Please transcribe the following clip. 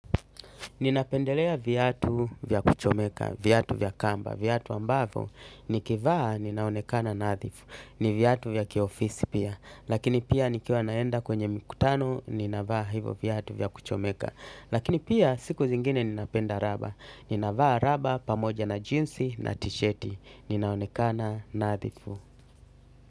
Ninapendelea viatu vya kuchomeka, viatu vya kamba, viatu ambavo, nikivaa ninaonekana nadhifu, ni viyatu vya kiofisi pia, lakini pia nikiwa naenda kwenye mkutano, ninavaa hivo viyatu vya kuchomeka, lakini pia siku zingine ninapenda raba, ninavaa raba pamoja na jeansi na tisheti, ninaonekana nadhifu.